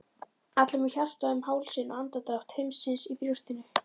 allir með hjartað um hálsinn og andardrátt heimsins í brjóstinu.